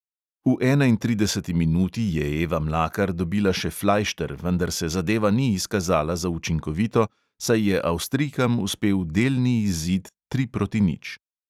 V enaintrideseti minuti je eva mlakar dobila še flajšter, vendar se zadeva ni izkazala za učinkovito, saj je avstrijkam uspel delni izid tri proti nič.